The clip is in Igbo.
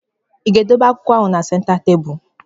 I ga-edobe akwụkwọ ahụ na senta tebụlụ?